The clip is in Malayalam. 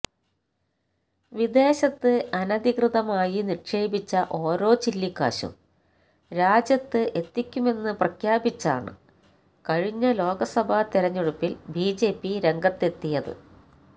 വിദേശത്ത് അനധികൃതമായി നിക്ഷേപിച്ച ഓരോ ചില്ലിക്കാശും രാജ്യത്ത് എത്തിക്കുമെന്ന് പ്രഖ്യാപിച്ചാണ് കഴിഞ്ഞ ലോക്സഭാ തിരഞ്ഞെടുപ്പില് ബി ജെ പി രംഗത്തെത്തിയത്